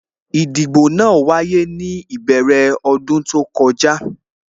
Ìdìbò náà wáyé ní ìbẹ̀rẹ̀ ọdún tó kọjá